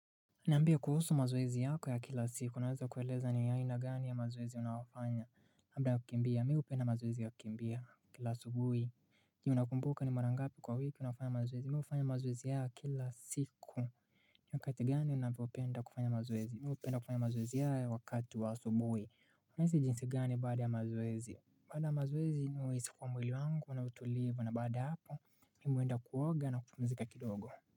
Niambie kuhusu mazoezi yako ya kila siku. Unaweza kueleza ni aina gani ya mazoezi unayofanya. Labda kukimbia. Mimi hupenda mazoezi ya kukimbia kila asubuhi. Je unakumbuka ni mara ngapi kwa wiki unafanya mazoezi. Mimi hufanya mazoezi haya kila siku. Ni wakati gani unaoupenda kufanya mazoezi. Mimi hupenda kufanya mazoezi haya wakati wa asubuhi. Unahisi jinsi gani baada ya mazoezi. Baada ya mazoezi mimi huhisi kuwa mwili wangu una utulivu na baada hapo, mimi huenda kuoga na kupumzika kidogo.